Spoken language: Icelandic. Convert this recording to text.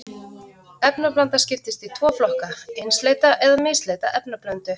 Efnablanda skiptist í tvo flokka, einsleita eða misleita efnablöndu.